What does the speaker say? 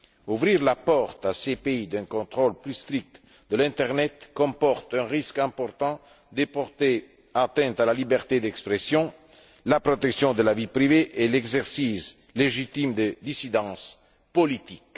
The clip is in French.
Ouvrir à ces pays la porte d'un contrôle plus strict de l'internet comporte un risque important d'atteinte à la liberté d'expression, à la protection de la vie privée et à l'exercice légitime des dissidences politiques.